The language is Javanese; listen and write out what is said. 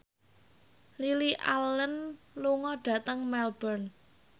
Lily Allen lunga dhateng Melbourne